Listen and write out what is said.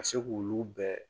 Ka se k'olu bɛɛ